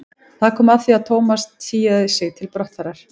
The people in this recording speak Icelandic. Það var komið að því að Thomas tygjaði sig til brottfarar.